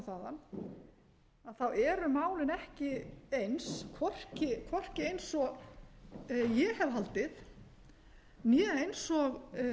og þaðan þá eru málin ekki eins hvorki eins og ég hef haldið né eins og